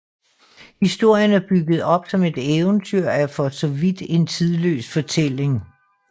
Historien er bygget op som et eventyr og er for så vidt en tidløs fortælling